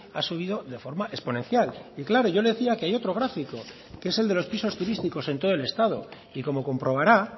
ha subido de forma exponencial y claro yo le decía que hay otro gráfico que es el de los pisos turísticos en todo el estado y como comprobará